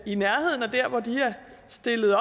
i nærheden af hvor de er stillet